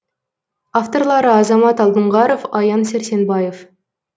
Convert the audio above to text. авторлары азамат алдоңғаров аян сәрсенбаев